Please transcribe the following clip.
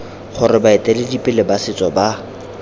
gore baeteledipele ba setso ba